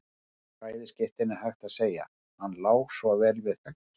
Í bæði skiptin er hægt að segja: Hann lá svo vel við höggi.